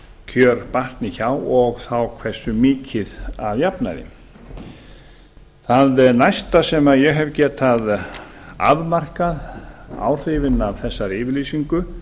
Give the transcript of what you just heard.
kjör batni hjá og þá hversu mikið að jafnaði það næsta sem ég hef getað afmarkað áhrifin af þessari yfirlýsingu